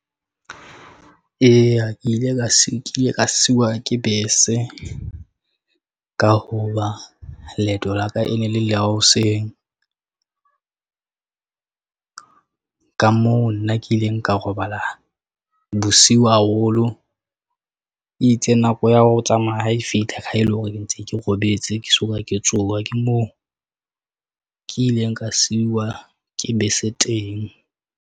Eya, ke ile ka sekhiye ka siwa ke bese ka hoba leeto la ka e ne le la hoseng. Ka moo nna ke ileng ka robala bosiu haholo. E itse nako ya ho tsamaya ha e fihla ke ha ele hore ke ntse ke robetse, ke soka ke tsoha. Ke moo ke ileng ka siwa ke bese teng.